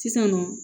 Sisannɔ